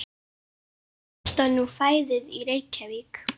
Hvað kostar nú fæðið í Reykjavík?